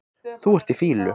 Þú ert í fýlu